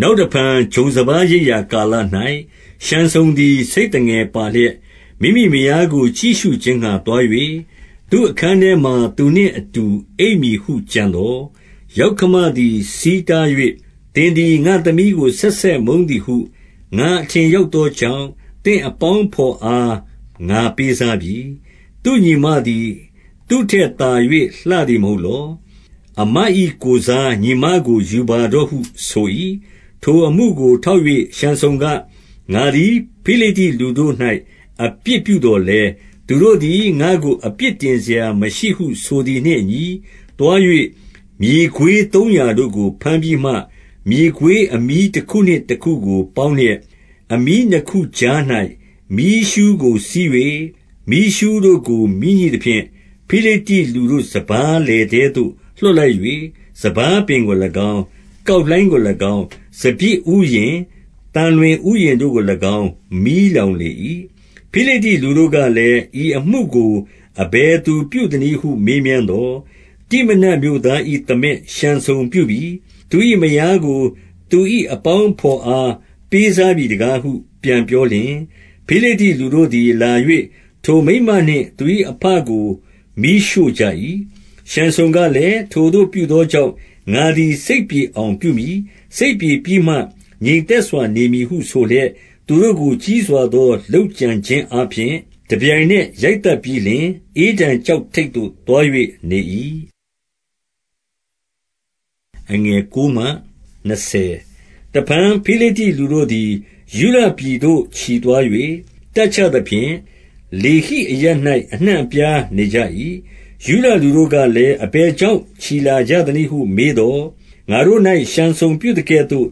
နောက်တဖန် ဂျုံစပါးရိတ်ရာ ကာလ၌ ရှံဆုန်သည် ဆိတ်သငယ်ပါလျက်၊ မိမိမယားကို ကြည့်ရှုခြင်းငှါ သွား၍၊ သူ့အခန်းထဲမှာ သူနှင့်အတူ အိပ်မည်ဟု ကြံသော်၊ ယောက္ခမသည် ဆီးတား၍၊ 2 သင်သည် ငါ့သမီးကို ဆက်ဆက် မုန်းသည်ဟု ငါအထင်ရောက်သောကြောင့်၊ သင့်အပေါင်းအဘော် အား ငါပေးစားပြီ။ သူ့ညီမသည် သူ့ထက်သာ၍ လှသည် မဟုတ်လော။ အစ်မ၏ကိုယ်စား ညီမကို ယူပါတော့ဟု ဆို၏။ 3 ထိုအမှုကို ထောက်၍ ရှံဆုန်က၊ ငါသည် ဖိလိတ္တိလူတို့၌ အပြစ်ပြုသော်လည်း၊ သူတို့သည် ငါ့ကို အပြစ်တင်စရာမရှိဟု ဆိုသည်နှင့်အညီ၊ 4 သွား၍ မြေခွေးသုံးရာတို့ကို ဘမ်းပြီးမှ၊ မြေခွေးအမြီးတခုနှင့် တခုကို ပေါင်းလျက်၊ အမြီးနှစ်ခုကြား၌ မီးရှူးကို စည်း၍၊ 5 မီးရှူးတို့ကို မီးညှိသဖြင့် ဖိလိတ္တိလူတို့ စပါးလယ်ထဲသို့ လွှတ်လိုက်၍ စပါးပင်ကို၎င်း၊ ကောက်လှိုင်းကို ၎င်း၊ စပျစ်ဥယျာဉ်၊ သံလွင်ဥယျာဉ်တို့ကို၎င်း မီးလောင်လေ၏။ 6 ဖိလိတ္တိလူတို့ကလည်း၊ ဤအမှုကို အဘယ်သူပြုသနည်းဟု မေးမြန်းသော်၊ တိမနတ်မြို့သား၏ သားမက် ရှံဆုန်ပြုပြီ။ သူ၏မယားကို သူ၏အပေါင်းအဘော်အား ပေးစားပြီတကားဟု ပြန်ပြောလျှင်၊ ဖိလိတ္တိလူတို့သည် လာ၍ ထိုမိန်းမနှင့် သူ၏အဘကို မီးရှို့ကြ၏။ 7 ရှံဆုန်ကလည်း၊ ထိုသို့ ပြုသောကြောင့် ငါသည် စိတ်ပြေအောင် ပြုမည်။ စိတ်ပြေပြီးမှ ငြိမ်သက်စွာ နေမည်ဟု ဆိုလျက်၊ 8 သူတို့ကို ကြီးစွာသော လုပ်ကြံခြင်းအားဖြင့် တပြိုင်နက် ရိုက်သတ်ပြီးလျှင် ဧတံကျောက်ထိပ်သို့ သွား၍ နေ၏။ 9 တဖန် ဖိလိတ္တိလူတို့သည် ယုဒပြည်သို့ ချီသွား၍ တပ်ချသဖြင့်၊ လေဟိအရပ်၌ အနှံ့အပြားနေကြ၏။ 10 ယုဒလူတို့ကလည်း၊ အဘယ်ကြောင့် ချီလာကြသနည်းဟု မေးသော်၊ ငါတို့၌ ရှံဆုန်ပြုသကဲ့သို့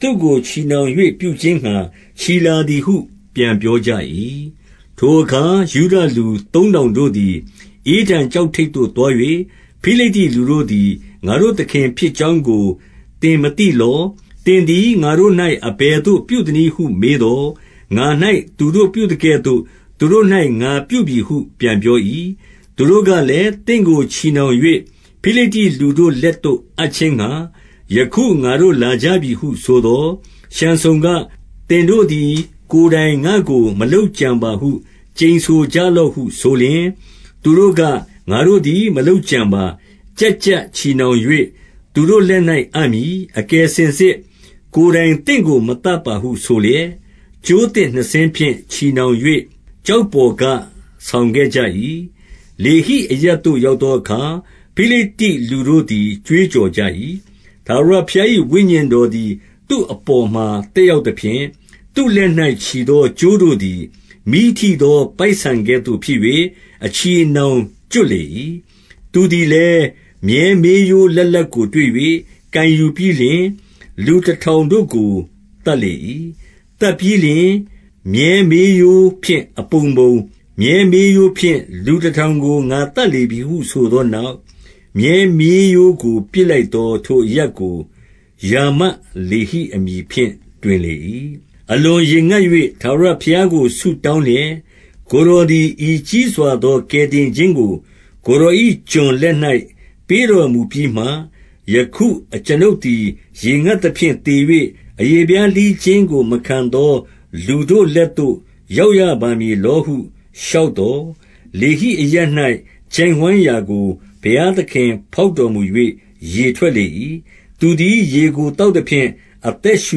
သူ့ကို ချည်နှောင်၍ ပြုခြင်းငှါ ချီလာသည်ဟု ပြန်ပြောကြ၏။ 11 ထိုအခါ ယုဒလူသုံးထောင်တို့သည် ဧတံကျောက်ထိပ်သို့ သွား၍၊ ဖိလိတ္တိလူတို့သည် ငါတို့သခင် ဖြစ်ကြောင်းကို သင်မသိသလော။ သင်သည် ငါတို့၌ အဘယ်သို့ ပြုသနည်းဟု မေးသော်၊ ငါ၌ သူတို့ပြုသကဲ့သို့ သူတို့၌ ငါပြုပြီဟု ပြန်ပြော၏။ 12 သူတို့ကလည်း၊ သင့်ကို ချည်နှောင်၍ ဖိလိတ္တိလူတို့လက်သို့ အပ်ခြင်းငှါ ယခု ငါတို့ လာကြပြီဟုဆိုသော်၊ ရှံဆုန်က၊ သင်တို့သည် ကိုယ်တိုင် ငါ့ကို မလုပ်ကြံပါဟု ကျိန်ဆိုကြလော့ဟု ဆိုလျှင်၊ 13 သူတို့က၊ ငါတို့သည် မလုပ်ကြံပါ။ ကျပ်ကျပ်ချည်နှောင်၍ သူတို့လက်၌ အပ်မည်။ အကယ်စင်စစ် ကိုယ်တိုင်သင့်ကို မသတ်ပါဟုဆိုလျက် ကြိုးသစ်နှစ်စင်းဖြင့် ချည်နှောင်၍ ကျောက်ပေါ်က ဆောင်ခဲ့ကြ၏။ 14 လေဟိအရပ်သို့ ရောက်သောအခါ၊ ဖိလိတ္တိလူတို့သည် ကြွေးကြော်ကြ၏။ ထာဝရဘုရား၏ ဝိညာဉ်တော်သည် သူ့အပေါ်မှာ သက်ရောက်သဖြင့်၊ သူ့လက်၌ ချည်သော ကြိုးတို့သည် မီးထိသော ပိုက်ဆန်ကဲ့သို့ ဖြစ်၍ အချည်အနှောင်ကျွတ်လေ၏။ 15 သူသည်လည်း မြည်းမေးရိုးလတ်လတ်ကို တွေ့၍ ကိုင်ယူပြီးလျှင် လူတထောင်တို့ကို သတ်လေ၏။ 16 သတ်ပြီးလျှင် မြည်းမေးရိုးဖြင့် အပုံပုံ၊ မြည်းမေးရိုးဖြင့် လူတထောင်ကို ငါသတ်လေပြီဟု ဆိုသောနောက်၊ 17 မြည်းမေးရိုးကို ပစ်လိုက်၍၊ ထိုအရပ်ကို ရာမတ်လေဟိအမည်ဖြင့် တွင်လေ၏။ 18 အလွန်ရေငတ်၍ ထာဝရဘုရားကို ဆုတောင်းလျက်၊ ကိုယ်တော်သည် ဤကြီးစွာသော ကယ်တင်ခြင်း ကို ကိုယ်တော်၏ကျွန်လက်၌ ပေးတော်မူပြီးမှ၊ ယခု အကျွန်ုပ်သည် ရေငတ်သဖြင့် သေ၍ အရေဖျား လှီးခြင်းကို မခံသော လူတို့လက်သို့ ရောက်ရပါမည်လောဟု လျှောက်သော်၊ 19 လေဟိအရပ်၌ ချိုင့်ဝှမ်းရာကို ဘုရားသခင်ဖောက်တော်မူ၍ ရေထွက်လေ၏။ သူသည် ရေကို သောက်သဖြင့် အသက်ရှူ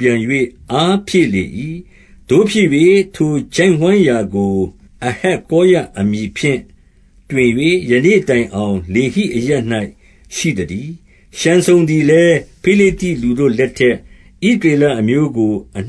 ပြန်၍ အားဖြည့်လေ၏။ သို့ဖြစ်၍ ထိုချိုင့်ဝှမ်းရာကို အဟက္ကောရအမည်ဖြင့် တွင်၍ ယနေ့တိုင်အောင် လေဟိအရပ်၌ ရှိသတည်း။ 20 ရှံဆုန်သည်လည်း ဖိလိတ္တိလူတို့လက်ထက် ဣသရေလအမျိုးကို အနှစ